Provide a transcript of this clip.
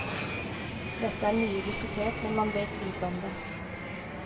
Dette er mye diskutert, men man vet lite om det.